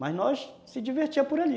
Mas nós nos divertíamos por ali.